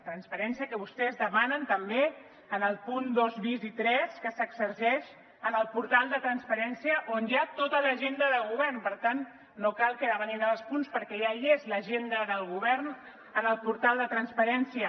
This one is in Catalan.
transparència que vostès demanen també en el punt dos bis i tres que s’exerceix en el portal de transparència on hi ha tota l’agenda de govern per tant no cal que demanin els punts perquè ja hi és l’agenda del govern en el portal de transparència